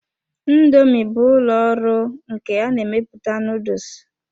Indoomi bụ ụlọ ọrụ nke ya na-emepụta noodles.